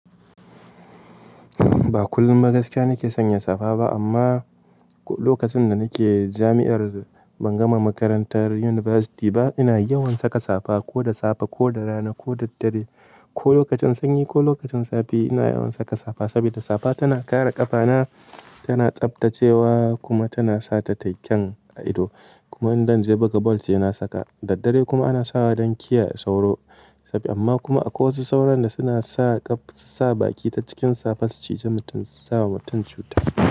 Ba kullum ba gaskiya nake sanya safa ba amma lokacin da nake jami'ar ban gama makarantar yunifasti ba ina yawan saka safa ko da safe ko da rana ko da daddare ko lokacin sanyi ko lokacin zafi ina yawan saka safa. Sabida safa tana kare ƙafana, tana tsaftacewa kuma tana sata tayi kyen a ido. Kuma idan zan je buga bal sai na saka. Daddare kuma ana sawa don kiyaye sauro. Amma kuma akwai wasu sauron da suna sa baki ta cikin safa su cije mutum, suna sa wa mutum cuta.